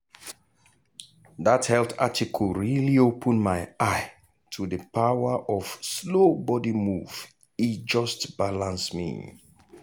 that health article really open my eye to the power of slow body move e just balance me.